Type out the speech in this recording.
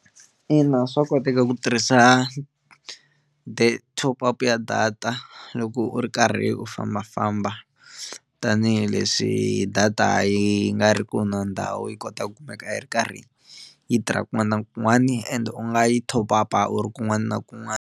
Ina swa koteka ku tirhisa top up ya data loko u ri karhi u fambafamba tanihileswi data yi nga ri ku na ndhawu yi kota ku kumeka a hi ri karhi yi tirha kun'wana na kun'wana ende u nga yi top up uri kun'wana na kun'wana.